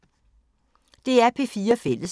DR P4 Fælles